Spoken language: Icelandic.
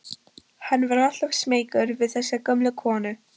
Hann var alltaf smeykur við þessa gömlu konu.